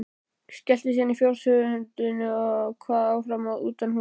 Skellti síðan fjóshurðinni og kvað áfram utanhúss.